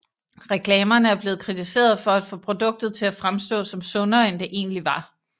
Reklamerne er blevet kritiseret for at få produktet til at fremstå som sundere end det egentlig var